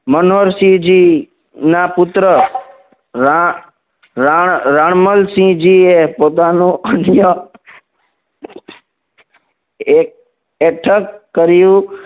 મનોહરસિંહજી ના પુત્ર રાળ રાળ રાણમલસિંહજી એ પોતાનો અન્ય એઠક કર્યું